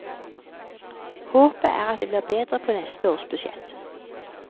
Håpet er at det blir bedre på neste års budsjett.